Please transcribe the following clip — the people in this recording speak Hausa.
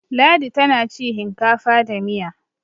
ladi tana ci hinkafa da Miya